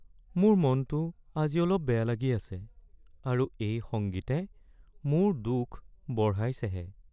মোৰ মনটো আজি অলপ বেয়া লাগি আছে আৰু এই সংগীতে মোৰ দুখ বঢ়াইছেহে।